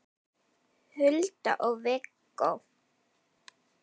Hulda og Viggó.